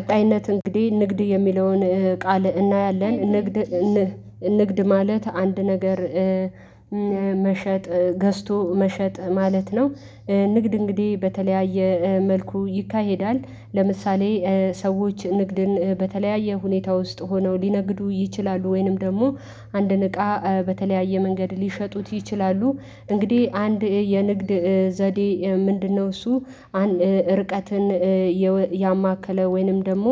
ቀጣይነት እንግዲህ ንግድ የሚለውን ቃል እናያለን ንግድ ንግድ ማለት አንድ ነገር መሸጥ ገዝቶ መሸጥ ማለት ነው። ንግድ እንግዲህ በተለያየ መልኩ ይካሄዳል ለምሳሌ ሰዎች ንግድን በተለያየ ሁኔታ ውስጥ ሆነው ሊነግዱ ይችላሉ ወይንም ደግሞ አንድን እቃ በተለያየ መንገድ ሊሸጡት ይችላሉ እንግዲህ አንድ የንግድ ዘዴ ምንድነው እሱ አንድ ርቀትን እየወ ያማከለ ወይንም ደግሞ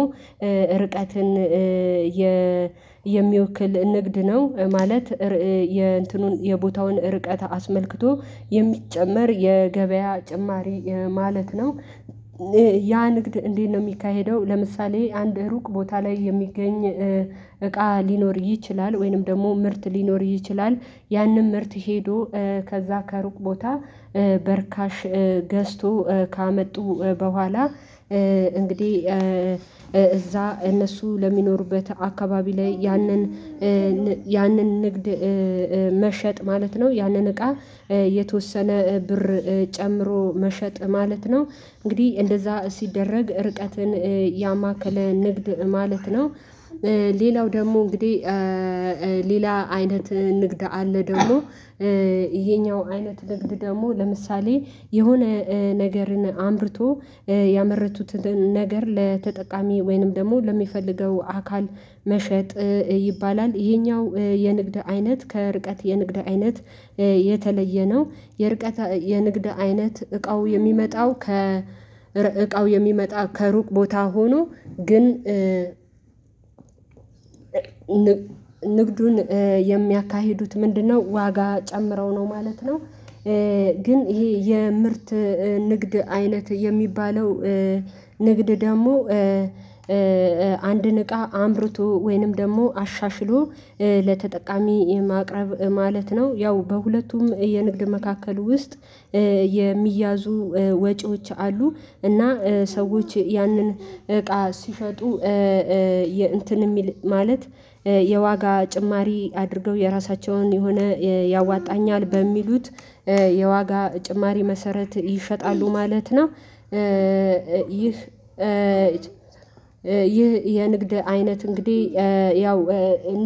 ርቀትን የ የሚወክል ንግድ ነው። ማለት የእንትኑን የቦታውን ርቀት አስመልክቶ የሚጨመር የገበያ ጭማሪ ማለት ነው። ያ ንግድ እንዴት ነው የሚካሄደው ለምሳሌ አንድ ሩቅ ቦታ ላይ የሚገኝ እቃ ሊኖር ይችላል ወይንም ደግሞ ምርት ሊኖር ይችላል ያንን ምርት ሄዶ ከዛ ከሩቅ ቦታ በርካሽ ገዝቶ ካመጡ በኋላ እንግዲህ እዛ እነሱ ለሚኖሩበት አካባቢ ላይ ያንን ያንን ንግድ መሸጥ ማለት ነው ያንን እቃ የተወሰነ ብር ጨምሮ መሸጥ። ማለት ነው እንግዲህ እንደዛ ሲደረግ ርቀትን ያማከለ ንግድ ማለት ነው። ሌላው ደግሞ እንግዲህ ሌላ አይነት ንግድ አለ ደግሞ ይሄኛው አይነት ንግድ ደግሞ ለምሳሌ የሆነ ነገርን አምርቶ ያመረቱትን ነገር ለተጠቃሚ ወይንም ደግሞ ለሚፈልገው አካል መሸጥ ይባላል ይሄኛው የንግድ አይነት ከርቀት የንግድ አይነት የተለየ ነው የርቀት የንግድ አይነት እቃው የሚመጣው ከ እቃው የሚመጣ ከሩቅ ቦታ ሆኖ ግን ንግዱን የሚያካሂዱት ምንድነው ዋጋ ጨምረው ነው ማለት ነው። ግን ይሄ የምርት ንግድ አይነት የሚባለው ንግድ ደግሞ አንድን እቃ አምርቶ ወይንም ደግሞ አሻሽሎ ለተጠቃሚ የማቅረብ ማለት ነው ያው በሁለቱም የንግድ መካከል ውስጥ የሚያዙ ወጪዎች አሉ እና ሰዎች ያንን እቃ ሲሸጡ እንትን የሚል ማለት የዋጋ ጭማሪ አድርገው የራሳቸውን የሆነ ያዋጣኛል በሚሉት የዋጋ ጭማሪ መሰረት ይሸጣሉ ማለት ነው ይህ ይህ የንግድ አይነት እንግዲህ ያው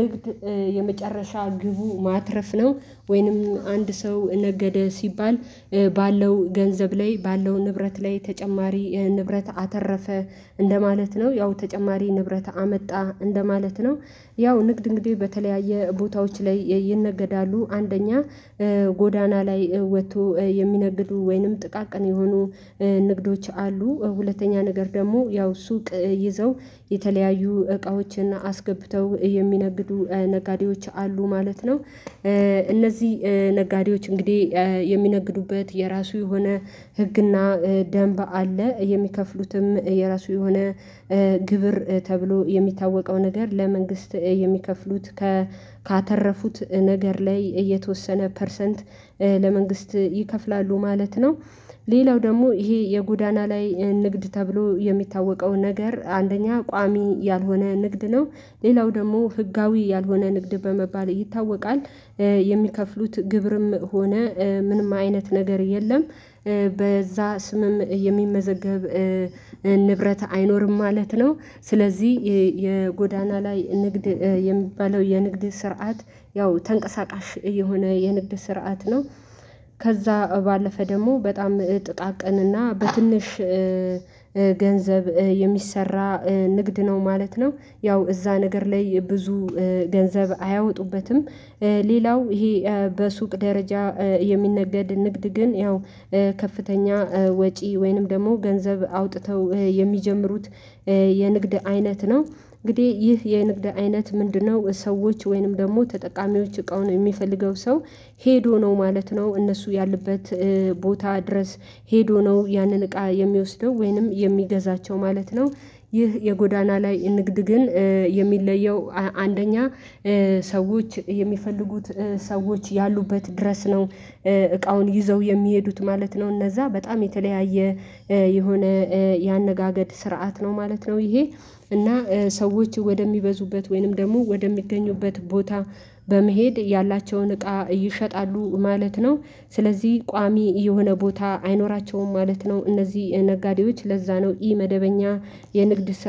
ንግድ የመጨረሻ ግቡ ማትረፍ ነው ወይንም አንድ ሰው ነገደ ሲባል ባለው ገንዘብ ላይ ባለው ንብረት ላይ ተጨማሪ ይህን ንብረት አተረፈ እንደማለት ነው ያው ተጨማሪ ንብረት አመጣ እንደማለት ነው ያው ንግድ እንግዲ በተለያየ ቦታዎች ላይ ይነገዳሉ አንደኛ ጎዳና ላይ ወጥቶ የሚነግዱ ወይንም ጥቃቅን የሆኑ ንግዶች አሉ ሁለተኛ ነገር ደግሞ ያው ሱቅ ይዘው የተለያዩ እቃዎችና አስገብተው የሚነግዱ ነጋዴዎች አሉ ማለት ነው እነዚህ ነጋዴዎች እንግዲህ የሚነግዱበት የራሱ የሆነ ህግና ደንብ አለ የሚከፍሉትም የራሱ የሆነ ግብር ተብሎ የሚታወቀው ነገር ለመንግስት የሚከፍሉት። ካተረፉት ነገር ላይ የተወሰነ ፐርሰንት ለመንግስት ይከፍላሉ ማለት ነው። ሌላው ደግሞ ይሄ የጎዳና ላይ ንግድ ተብሎ የሚታወቀው ነገር አንደኛ ቋሚ ያልሆነ ንግድ ነው ሌላው ደግሞ ህጋዊ ያልሆነ ንግድ በመባል ይታወቃል። የሚከፍሉት ግብርም ሆነ ምንም አይነት ነገር የለም በዛ ስምም የሚመዘገብ ንብረት አይኖርም ማለት ነው ስለዚህ የጎዳና ላይ ንግድ የሚባለው የንግድ ስርዓት ያው ተንቀሳቃሽ የሆነ የንግድ ስርዓት ነው። ከዛ ባለፈ ደግሞ በጣም ጥጣ ቀንና በትንሽ ገንዘብ የሚሰራ ንግድ ነው ማለት ነው ያው እዛ ነገር ላይ ብዙ ገንዘብ አያወጡበትም። ሌላው ይሄ በሱቅ ደረጃ የሚነገድ ንግድ ግን ያው ከፍተኛ ወጪ ወይንም ደግሞ ገንዘብ አውጥተው የሚጀምሩት። የንግድ አይነት ነው እንግዲህ ይህ የንግድ አይነት ምንድነው ሰዎች ወይንም ደግሞ ተጠቃሚዎች እቃውን የሚፈልገው ሰው ሄዶ ነው ማለት ነው እነሱ ያሉበት ቦታ ድረስ ሄዶ ነው ያንን እቃ የሚወስደው ወይንም የሚገዛቸው ማለት ነው። ይህ የጎዳና ላይ ንግድ ግን የሚለየው አንደኛ ሰዎች የሚፈልጉት ሰዎች ያሉበት ድረስ ነው እቃውን ይዘው የሚሄዱት ማለት ነው እነዛ በጣም የተለያየ የሆነ ያነጋገድ ስርዓት ነው ማለት ነው ይሄ እና ሰዎች ወደሚበዙበት ወይንም ደግሞ ወደሚገኙበት ቦታ በመሄድ ያላቸውን እቃ ይሸጣሉ ማለት ነው ስለዚህ ቋሚ የሆነ ቦታ አይኖራቸውም ማለት ነው እነዚህ ነጋዴዎች ለዛ ነው ኢ መደበኛ የንግድ ስ